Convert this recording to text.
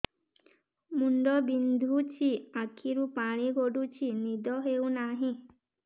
ମୁଣ୍ଡ ବିନ୍ଧୁଛି ଆଖିରୁ ପାଣି ଗଡୁଛି ନିଦ ହେଉନାହିଁ